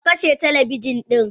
Kakashe talabijin din?